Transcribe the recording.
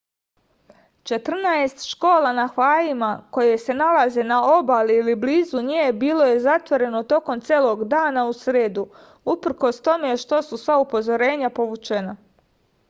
četrnaest škola na havajima koje se nalaze na obali ili blizu nje bilo je zatvoreno tokom celog dana u sredu uprkos tome što su sva upozorenja povučena